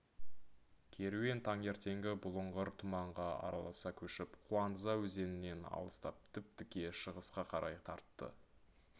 керуен таңертеңгі бұлыңғыр тұманға араласа көшіп куанза өзенінен алыстап тіп-тіке шығысқа қарай тартты